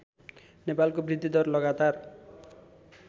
नेपालको वृद्धिदर लगातार